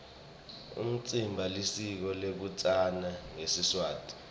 umtsimba lisiko lekutsatsana ngesiswati